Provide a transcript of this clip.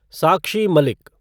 Sakshi Malik